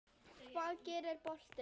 Hvað gerir boltinn?